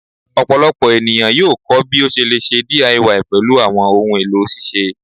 Ọpọlọpọ eniyan yoo kọ ẹkọ bi o ṣe le ṣe DIY pẹlu awọn ohun elo ṣiṣe